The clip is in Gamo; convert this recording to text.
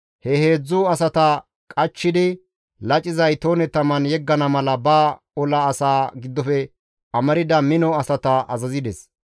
He heedzdzu asata qachchidi laciza itoone taman yeggana mala ba ola asaa giddofe amarda mino asata azazides.